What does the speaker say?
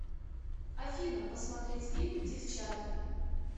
афина посмотреть фильм девчата